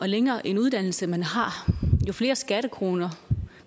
længere en uddannelse man har jo flere skattekroner